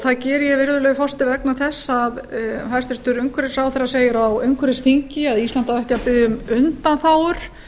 það geri ég virðulegi forseti vegna þess að hæstvirtur umhverfisráðherra segir að á umhverfisþingi að ísland á ekki að biðja um undanþágur